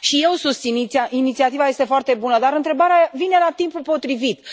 Și eu o susțin, inițiativa este foarte bună, dar întrebarea vine la timpul potrivit